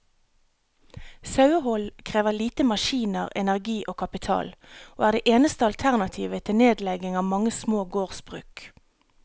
Sauehold krever lite maskiner, energi og kapital, og er det eneste alternativet til nedlegging av mange små gårdsbruk.